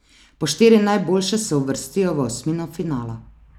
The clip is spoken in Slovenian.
Po štiri najboljše se uvrstijo v osmino finala.